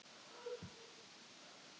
Ég verð að komast inn til pabba.